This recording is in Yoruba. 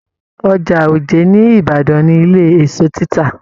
Ọjà òjé ní ìbàdàn ni ilé èso tita.